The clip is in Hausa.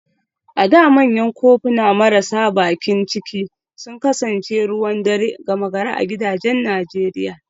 A da manyan kofuna marasa bakin ciki sun kasance ruwan dare gama gari a gidajen Najeriya